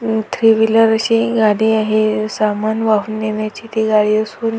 म three wheeler अशी गाडी आहे. अ सामान वाहून नेण्याची ती गाडी असून--